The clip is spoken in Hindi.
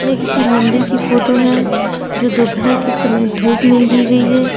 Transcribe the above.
ये किसी मंदिर की फोटो है जो दोपहर के समय धूप में ली गई है।